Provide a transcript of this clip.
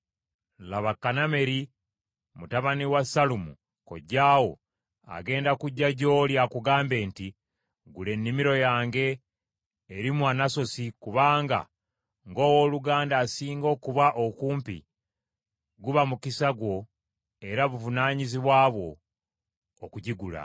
Laba Kanameri mutabani wa Sallumu kojjaawo agenda kujja gy’oli akugambe nti, ‘Gula ennimiro yange eri mu Anasosi kubanga ng’owooluganda asinga okuba okumpi guba mukisa gwo era buvunaanyizibwa bwo okugigula.’